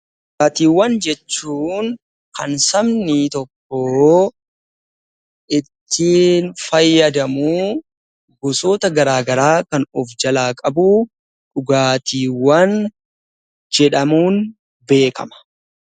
Dhugaatiiwwan jechuun kan sabni tokko ittiin fayyadamuu gosoota garagaraa kan of jalaa qabu dhugaatiiwwan jedhamuun beekama.